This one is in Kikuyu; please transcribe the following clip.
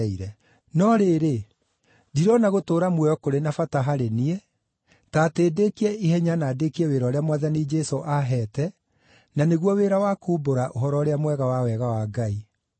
No rĩrĩ, ndirona gũtũũra muoyo kũrĩ na bata harĩ niĩ, korwo no ndĩĩkie ihenya na ndĩĩkie wĩra ũrĩa Mwathani Jesũ aaheete, na nĩguo wĩra wa kuumbũra Ũhoro-ũrĩa-Mwega wa wega wa Ngai.